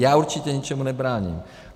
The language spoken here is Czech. Já určitě ničemu nebráním.